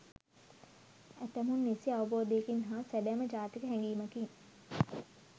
ඇතමුන් නිසි අවබෝධයකින් හා සැබෑම ජාතික හැගීමකින්